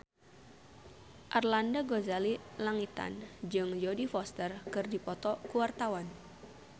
Arlanda Ghazali Langitan jeung Jodie Foster keur dipoto ku wartawan